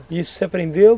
E isso você aprendeu?